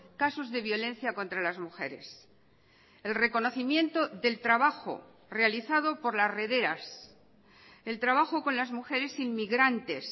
casos de violencia contra las mujeres el reconocimiento del trabajo realizado por las rederas el trabajo con las mujeres inmigrantes